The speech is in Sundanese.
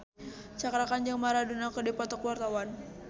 Cakra Khan jeung Maradona keur dipoto ku wartawan